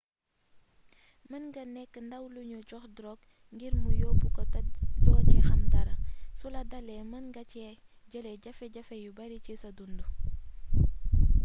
mën nga nekk ndaw lu ñu jox drogue ngir mu yóbbu ko te doo ci xam dara sula dalee mën nga ci jële jafe-jafe yu bari ci sa dund